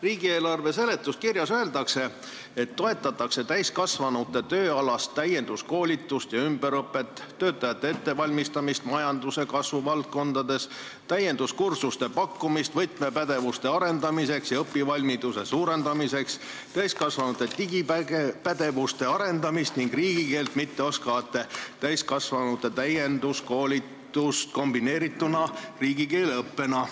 Riigieelarve eelnõu seletuskirjas öeldakse, et toetatakse täiskasvanute tööalast täienduskoolitust ja ümberõpet, töötajate ettevalmistamist majanduse kasvuvaldkondades, täienduskursuste pakkumist võtmepädevuste arendamiseks ja õpivalmiduse suurendamiseks, täiskasvanute digipädevuste arendamist ning riigikeelt mitte oskavate täiskasvanute täienduskoolitust kombineerituna riigikeele õppega.